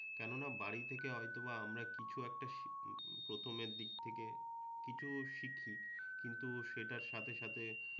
কেননা বাড়িতে হয়তোবা আমরা কিছু একটা শিখি, প্রথমের দিক থেকে কিছু শিখি, কিন্তু সেটার সাথে সাথে